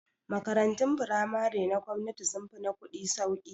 Makarantun firamare na gwamnati sun fi na kuɗi sauki